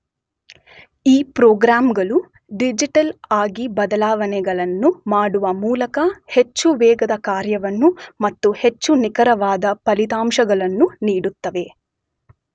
ಈ ಪ್ರೋಗ್ರಾಂಗಳು ಡಿಜಿಟಲ್ ಆಗಿ ಬದಲಾವಣೆಗಳನ್ನು ಮಾಡುವ ಮೂಲಕ ಹೆಚ್ಚು ವೇಗದ ಕಾರ್ಯವನ್ನು ಮತ್ತು ಹೆಚ್ಚು ನಿಖರವಾದ ಫಲಿತಾಂಶಗಳನ್ನು ನೀಡುತ್ತವೆ.